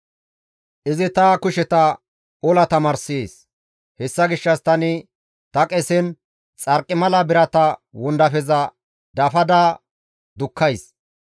Izi ta kusheta ola tamaarssees; hessa gishshas tani ta qesen xarqimala birata wondafeza dafada dukkays.